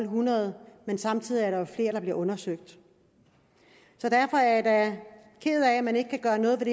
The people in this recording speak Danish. hundrede men samtidig er der jo flere der bliver undersøgt så derfor er jeg da ked af at man ikke kan gøre noget ved